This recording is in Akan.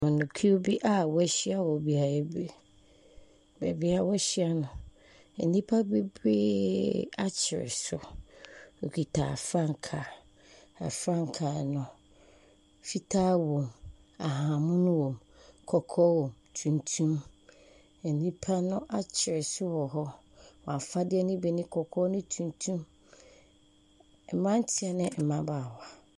Amanyɔkuw bi a wɔahyia wɔ beaeɛ bi, beebi a wɔahyia no, nnipa bebree akyere so, wɔkita frankaa, na frankaa no fitaa wɔm, ahahanmono wɔm, kɔkɔɔ wɔm, tuntum. Nnipa no akyere so wɔ hɔ, wɔn afadeɛ ne bi ne kɔkɔɔ ne tuntum, mmeranteɛ ne mmabaawa.